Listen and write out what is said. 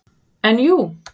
En jú.